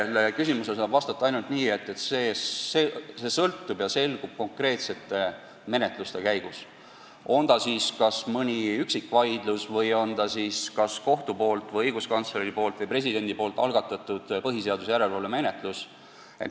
Sellele küsimusele saab vastata ainult nii, et see selgub konkreetsete menetluste käigus – on see siis mõni üksikvaidlus või kas kohtu või õiguskantsleri või presidendi poolt algatatud põhiseaduslikkuse järelevalve menetlus.